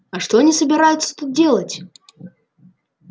а что они собираются тут делать